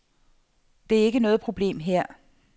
Det er ikke noget problem her.